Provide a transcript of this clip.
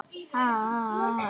Mumma vita, spurði ég.